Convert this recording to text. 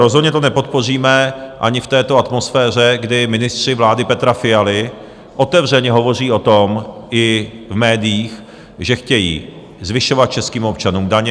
Rozhodně to nepodpoříme ani v této atmosféře, kdy ministři vlády Petra Fialy otevřeně hovoří o tom i v médiích, že chtějí zvyšovat českým občanům daně.